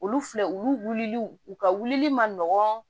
Olu filɛ olu wulili u ka wulili ma nɔgɔn